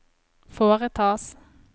foretas